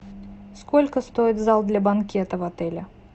сколько стоит зал для банкета в отеле